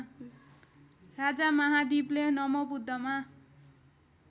राजा महादीपले नमोबुद्धमा